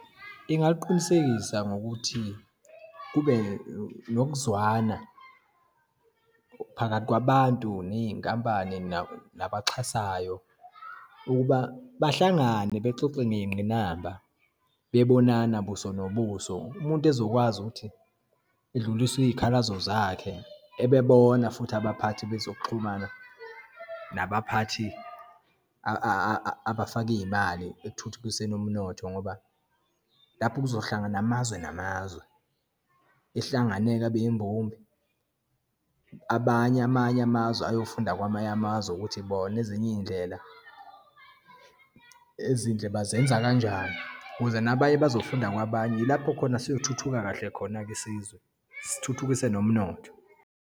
Ingaliqinisekisa ngokuthi kube nokuzwana phakathi kwabantu, neyinkampani, nabaxhasayo ukuba bahlangane bexoxe ngeyingqinamba, bebonana buso nobuso. Umuntu ezokwazi ukuthi edlulise iyikhalazo zakhe, ebebona futhi abaphathi bezokuxhumana, nabaphathi abafaka iyimali ekuthuthukiseni umnotho, ngoba lapho kuzohlangana amazwe namazwe, ehlangane-ke, abe yimbumbe. Abanye, amanye amazwe ayofunda kwamanye amazwe ukuthi bona ezinye iyindlela ezinhle bazenza kanjani, ukuze nabanye bazofunda kwabanye. Yilapho khona siyothuthuka kahle khona-ke isizwe, sithuthukise nomnotho.